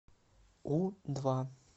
у два